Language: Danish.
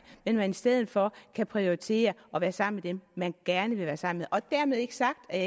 men at man i stedet for kan prioritere at være sammen med dem man gerne vil være sammen og dermed ikke sagt at